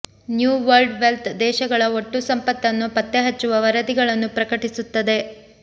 new World Wealth ದೇಶಗಳ ಒಟ್ಟು ಸಂಪತ್ತನ್ನು ಪತ್ತೆಹಚ್ಚುವ ವರದಿಗಳನ್ನು ಪ್ರಕಟಿಸುತ್ತದೆ